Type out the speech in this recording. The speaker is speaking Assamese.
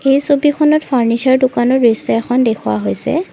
এই ছবিখনত ফাৰ্নিছাৰ দোকানৰ দৃশ্য এখন দেখুওৱা হৈছে।